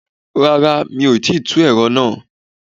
Rárá o, mi ò tìí tú ẹ̀rọ nàá.